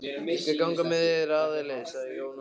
Ég skal ganga með þér áleiðis, sagði Jón Ólafsson.